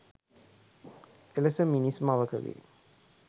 එලෙස මිනිස් මවකගේ